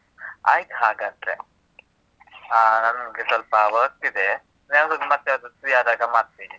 ಆಯ್ತ್ ಹಾಗಾದ್ರೆ. ಅಹ್ ನಂಗೆ ಸ್ವಲ್ಪ work ಇದೆ. ನಾನ್ ಯಾವಾಗ್ಲಾದ್ರೂ ಮತ್ತೇ ಯಾವಾಗಾದ್ರೂ free ಆದಾಗ ಮಾಡ್ತಿನಿ.